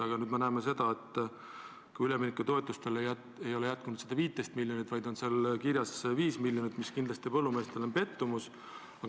Aga nüüd me näeme, et üleminekutoetustele ei ole jätkunud 15 miljonit, vaid on kirjas 5 miljonit, mis kindlasti on põllumeestele pettumus.